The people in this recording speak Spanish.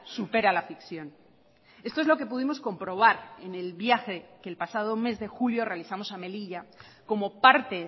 supera la ficción esto es lo que pudimos comprobar en el viaje que el pasado mes de julio realizamos a melilla como parte